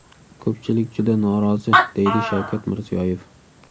Ko‘pchilik juda norozi”, deydi Shavkat Mirziyoyev.